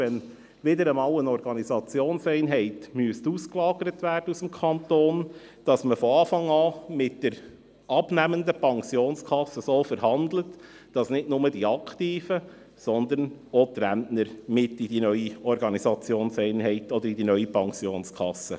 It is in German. Sollte wieder einmal eine Organisationseinheit aus dem Kanton ausgelagert werden, wird mit der abnehmenden Pensionskasse so verhandelt, dass nicht nur die Aktiven, sondern auch die Rentner mit in die neue Organisationseinheit, respektive in die neue Pensionskasse eintreten.